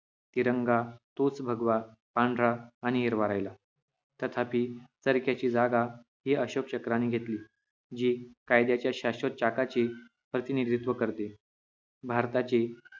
तिरंगा तोच भगवा पांढरा आणि हिरवा राहिला तथापि तरी त्याची जागा हि अशोक चक्राने घेतली जी कायद्याच्या शाश्वत चाकाची प्रतिनिधित्व करते भारताची